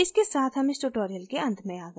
इसके साथ हम इस tutorial के अंत में आ गए हैं